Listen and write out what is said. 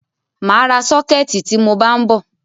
Màa ra sọ́kẹ̀tì tí mọ bá ń bọ̀.